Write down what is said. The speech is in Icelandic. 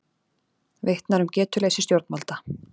Vitnar um getuleysi stjórnvalda